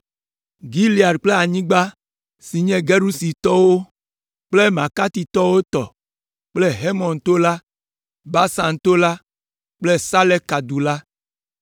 Gilead kple anyigba si nye Gesuritɔwo kple Makatitɔwo tɔ kple Hermon to la, Basan to la kple Saleka du la